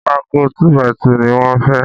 Pákó “2 by 2” ni wọ́n fẹ́